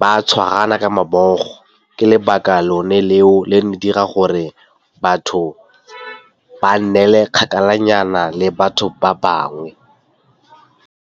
ba tshwarana ka mabogo. Ke lebaka lone leo le dira gore batho ba nnele kgakala nyana le batho ba bangwe.